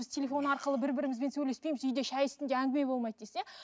біз телефон арқылы бірі бірімізбен сөйлеспейміз үйде шай үстінде әңгіме болмайды дейсіз иә